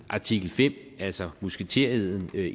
artikel fem altså musketereden